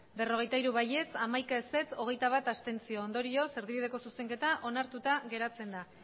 berrogeita hiru ez hamaika abstentzioak hogeita bat ondorioz erdibideko zuzenketa onartuta geratzen da